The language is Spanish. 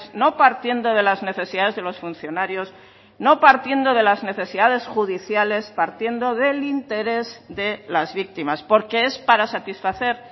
no partiendo de las necesidades de los funcionarios no partiendo de las necesidades judiciales partiendo del interés de las víctimas porque es para satisfacer